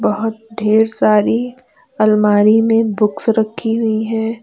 बहुत ढेर सारी अलमारी में बुक्स रखी हुई हैं।